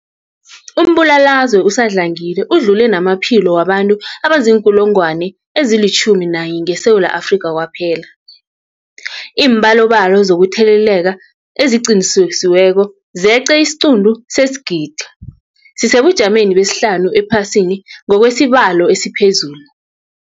Umbulalazwe usadlangile udlule namaphilo wabantu abaziinkulungwana ezi-11 ngeSewula Afrika kwaphela. Iimbalobalo zokutheleleka eziqinisekisiweko zeqe isiquntu sesigidi, sisesebujameni besihlanu ephasini ngokwesibalo esiphezulu.